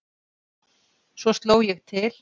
Svo sló ég til.